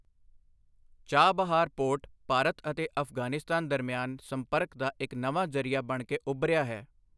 Chabahar port Bharat ਅਤੇ ਅਫ਼ਗ਼ਾਨਿਸਤਾਨ ਦਰਮਿਆਨ ਸੰਪਰਕ ਦਾ ਇੱਕ ਨਵਾਂ ਜ਼ਰੀਆ ਬਣਕੇ ਉਭਰਿਆ ਹੈ।